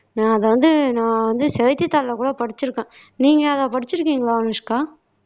நான் அத வந்து நான் வந்து செய்தித்தாள்ல கூட படிச்சிருக்கேன் நீங்க அத படிச்சிருக்கீங்களா அனுஷ்கா